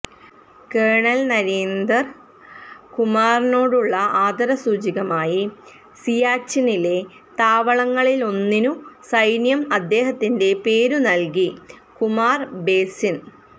kernel Narinder കുമാറിനോടുള്ള ആദരസൂചകമായി സിയാച്ചിനിലെ താവളങ്ങളിലൊന്നിനു സൈന്യം അദ്ദേഹത്തിന്റെ പേരു നല്കി കുമാര് ബേസിന്